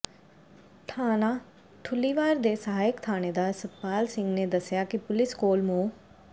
ਥਾਣਾ ਠੁੱਲੀਵਾਲ ਦੇ ਸਹਾਇਕ ਥਾਣੇਦਾਰ ਸਤਪਾਲ ਸਿੰਘ ਨੇ ਦੱਸਿਆ ਕਿ ਪੁਲਿਸ ਕੋਲ ਮੁ